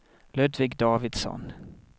Ludvig Davidsson